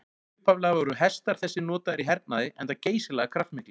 Upphaflega voru hestar þessir notaðir í hernaði enda geysilega kraftmiklir.